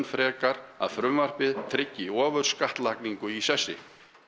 frekar að frumvarpið tryggi ofurskattlagningu í sessi